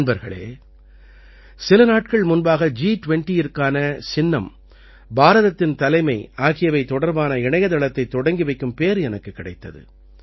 நண்பர்களே சில நாட்கள் முன்பாக ஜி20ற்கான சின்னம் பாரதத்தின் தலைமை ஆகியவை தொடர்பான இணையத்தளத்தைத் தொடங்கி வைக்கும் பேறு எனக்குக் கிடைத்தது